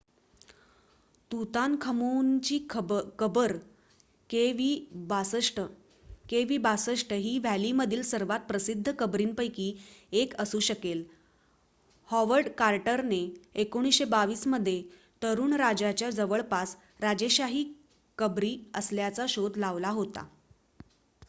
तुतानखमूनची कबर kv62. kv62 ही व्हॅलीमधील सर्वात प्रसिद्ध कबरीपैकी एक असू शकेल हॉवर्ड कार्टरने 1922 मध्ये तरुण राजाच्या जवळपास राजेशाही कबरी असल्याचा शोध लावला होता